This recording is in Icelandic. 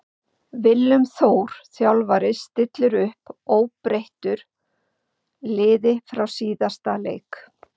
Willum Þór þjálfari stillir upp óbreyttur liði frá síðasta leik.